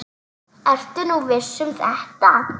Ertu nú viss um þetta?